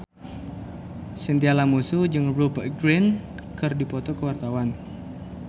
Chintya Lamusu jeung Rupert Grin keur dipoto ku wartawan